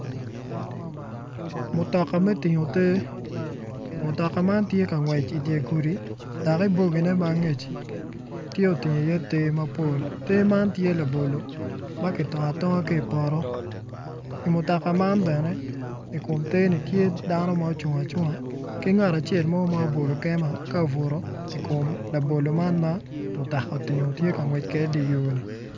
Mutoka me tingo te mutoka man tye ka ngwec idye gudi dok ibogine ma angeci tye otingo iye te mapol te man tye labolo ma kitongo atonga ki i poto i mutoka man bene i kom teni tye dano ma ocung acunga ki nagat acel mo ma obol kema ka obuto i kom labolo man ma mutoka otingo tye ka ngwec kwede idye yoni.